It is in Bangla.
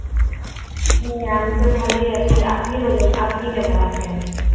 হ্যাঁ আমি তো ভালোই আছি। আপনি বলুন, আপনি কেমন আছেন?